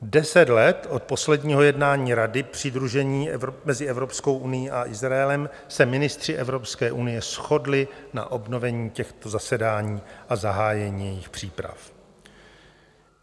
Deset let od posledního jednání Rady přidružení mezi Evropskou unií a Izraelem se ministři Evropské unie shodli na obnovení těchto zasedání a zahájení jejich příprav.